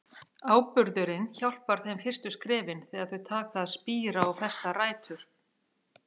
Áburðurinn hjálpar þeim fyrstu skrefin, þegar þau taka að spíra og festa rætur.